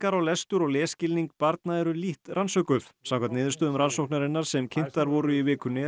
á lestur og lesskilning barna eru lítt rannsökuð samkvæmt niðurstöðum rannsóknarinnar sem kynntar voru í vikunni er